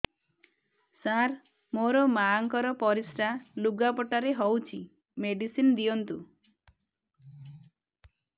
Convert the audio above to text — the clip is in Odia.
ସାର ମୋର ମାଆଙ୍କର ପରିସ୍ରା ଲୁଗାପଟା ରେ ହଉଚି ମେଡିସିନ ଦିଅନ୍ତୁ